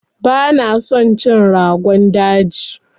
Bana son cin Rogon daji.